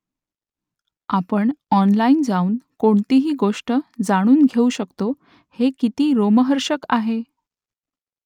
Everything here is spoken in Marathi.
आपण ऑनलाइन जाऊन कोणतीही गोष्ट जाणून घेऊ शकतो हे किती रोमहर्षक आहे !